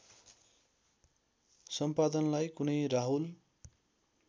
सम्पादनलाई कुनै राहुल